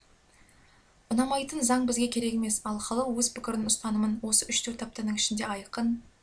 ұнамайтын заң бізге керек емес ал халық өз пікірін ұстанымын осы үш-төрт аптаның ішінде айқын